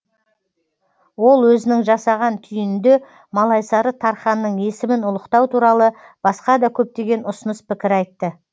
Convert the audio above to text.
ол өзінің жасаған түйінінде малайсары тарханның есімін ұлықтау туралы басқа да көптеген ұсыныс пікір айтты